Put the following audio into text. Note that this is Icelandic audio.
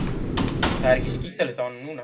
Það er skítalykt af honum núna.